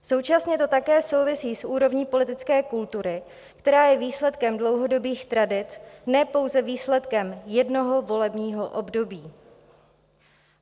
Současně to také souvisí s úrovní politické kultury, která je výsledkem dlouhodobých tradic, ne pouze výsledkem jednoho volebního období.